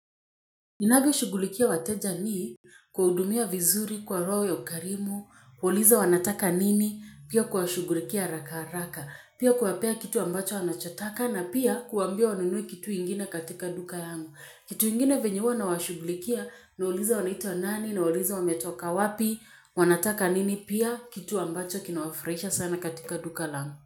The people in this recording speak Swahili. Ninavyoshughulikia wateja ni kuwahudumia vizuri kwa roho ya ukarimu, kuwauliza wanataka nini, pia kuwashughulikia haraka haraka, pia kuwapea kitu ambacho wanachotaka na pia kuwambia wanunue kitu ingine katika duka yangu. Kitu ingine venye huwa nawashughulikia, nawauliza wanaitwa nani, nawauliza wametoka wapi, wanataka nini, pia kitu ambacho kinawafurahisha sana katika duka langu.